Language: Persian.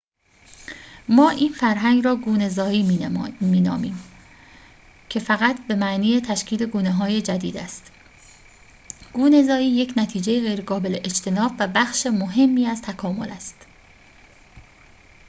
ما این فرایند را گونه‌زایی می نامیم که فقط به معنی تشکیل گونه‌های جدید است گونه‌زایی یک نتیجه غیرقابل اجتناب و بخش مهمی از تکامل است